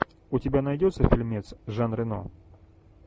у тебя найдется фильмец жан рено